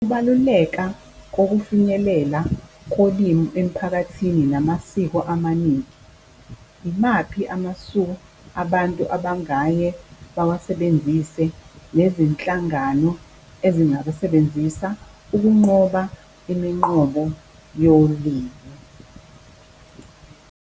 Ukubaluleka kokufinyilela kolimi emphakathini namasiko amaningi. Yimaphi amasu abantu abangaye bawasebenzise nezinhlangano ezingabasebenzisa ukunqoba iminqobo yolimu.